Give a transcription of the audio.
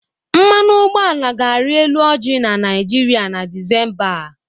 Mmanụ ụgbọala ga-arị elu ọji na Nịajịrịa na Desimba a.